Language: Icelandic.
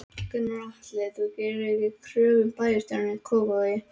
Gunnar Atli: Þú gerðir ekki kröfu um bæjarstjórastólinn í Kópavogi?